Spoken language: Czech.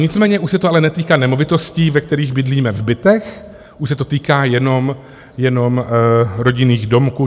Nicméně už se to ale netýká nemovitostí, ve kterých bydlíme v bytech, už se to týká jenom rodinných domků.